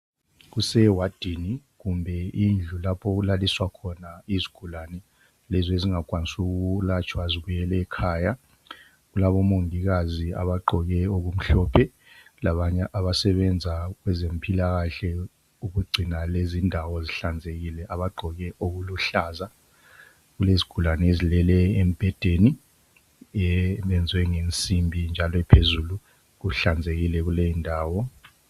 Kusewadini kumbe indlu lezo okulaliswa khona izigulani lezi ezingenelisi kwelatshwa zibuyela ngekhaya. Kulabomongikazi abagqoke okumhlophe labanye abasebenza kwezempilakahle ukugcina lezi ndawo zihlanzekile abagqoke okuluhlaza. Kulezigulani ezilele embhedeni eyenzwe ngensimbi njalo ephezulu, kuhlanzekile kuleyi ndawo.